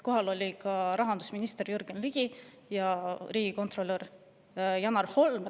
Kohal olid ka rahandusminister Jürgen Ligi ja riigikontrolör Janar Holm.